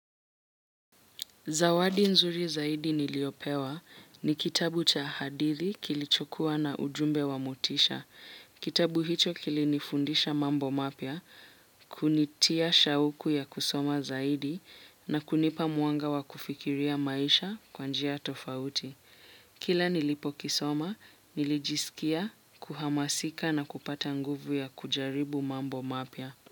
Zawadi nzuri zaidi niliopewa ni kitabu cha hadithi kilichokuwa na ujumbe wa motisha. Kitabu hicho kilinifundisha mambo mapya, kunitia shauku ya kusoma zaidi na kunipa mwanga wa kufikiria maisha kwa njia tofauti. Kila nilipo kisoma, nilijisikia, kuhamasika na kupata nguvu ya kujaribu mambo mapia.